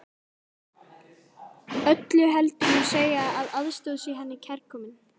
Öllu heldur má segja að aðstoð sé henni kærkomin.